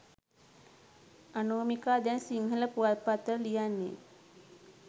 අනෝමිකා දැන් සිංහල පුවත්පත් වල ලියන්නේ